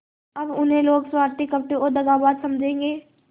अब उन्हें लोग स्वार्थी कपटी और दगाबाज समझेंगे